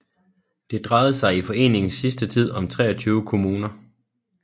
Det drejede sig i foreningens sidste tid om 23 kommuner